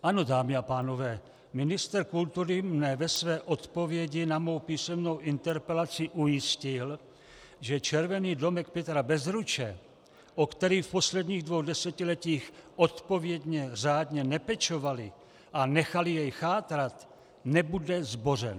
Ano, dámy a pánové, ministr kultury mne ve své odpovědi na mou písemnou interpelaci ujistil, že Červený domek Petra Bezruče, o který v posledních dvou desetiletích odpovědně řádně nepečovali a nechali jej chátrat, nebude zbořen.